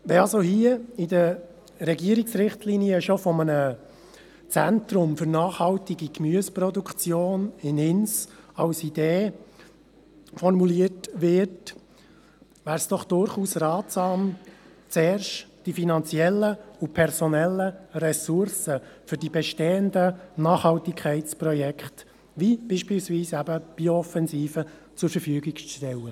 Wenn in den Regierungsrichtlinien schon von einem Zentrum für nachhaltige Gemüseproduktion in Ins als Idee gesprochen wird, wäre es durchaus ratsam, zuerst die finanziellen und personellen Ressourcen für die bestehenden Nachhaltigkeitsprojekte, wie beispielsweise die Bio-Offensive, zur Verfügung zu stellen.